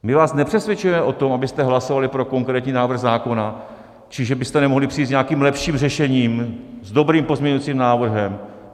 My vás nepřesvědčujeme o tom, abyste hlasovali pro konkrétní návrh zákona či že byste nemohli přijít s nějakým lepším řešením, s dobrým pozměňovacím návrhem.